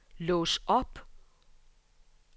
lås op